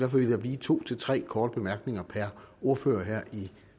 vil der blive to til tre korte bemærkninger per ordfører her i